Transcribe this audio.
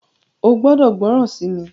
o gbódò gbóròn sí mí!